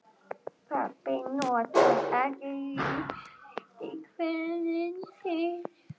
Pabbi notar ekki rím í kvæðin sín.